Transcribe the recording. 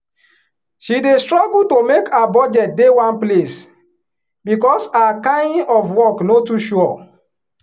she dey struggle to make her budget dey one place because her kain of work no too sure.